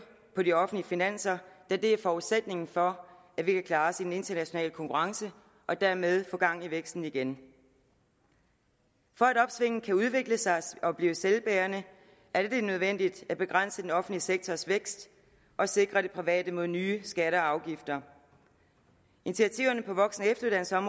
på de offentlige finanser da det er forudsætningen for at vi kan klare os i den internationale konkurrence og dermed få gang i væksten igen for at opsvinget kan udvikle sig og blive selvbærende er det nødvendigt at begrænse den offentlige sektors vækst og sikre den private sektor mod nye skatter og afgifter initiativerne på voksen